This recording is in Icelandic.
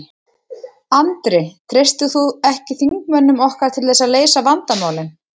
Andri: Treystir þú ekki þingmönnum okkar til þess að leysa vandamálin?